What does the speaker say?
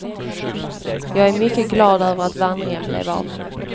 Jag är mycket glad över att vandringen blev av.